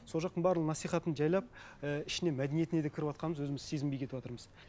сол жақтың барлық насихатын жайлап і ішіне мәдениетіне де кіріватқанымыз өзіміз сезінбей кетіватырмыз